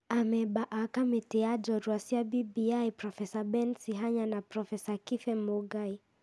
Amemba a kamĩtĩ ya njorũa cia BBI Prof Ben Sihanya na Prof Kibe Mũngai.